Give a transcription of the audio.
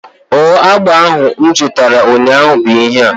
Ọ agba ahụ m zutara ụnyaahụ bụ ihea?